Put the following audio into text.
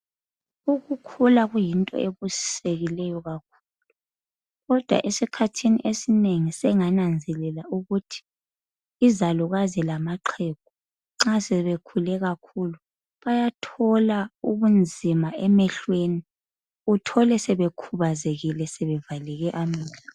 Ukukhula kuyinto ebusisekileyo kakhulu, kodwa esikhathini esinengi sengananzelela ukuthi izalukazi lamaxhegu nxa sebekhule kakhulu bayathola ubunzima emehlweni uthole sebekhubazekile sebevaleke amehlo.